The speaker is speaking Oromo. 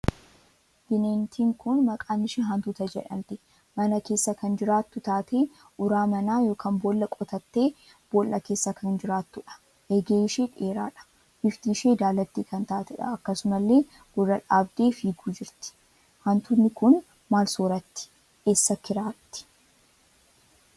Bineentiin kun maqaan ishee hantuuta jedhamti mana keessa kan jiraattu taatee uraa manaa ykn boolla qotattee boolla keessa kan jiraattuudha. eegee ishee dheeraadha. bifti ishee daalatti kan taateedha akkasumallee gurra dhaabdee fiiguu jirti. Hantuutni kun maal sooratti? eessa kiraatti?